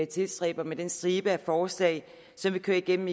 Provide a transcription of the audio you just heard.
tilstræber med den stribe af forslag som vi kører igennem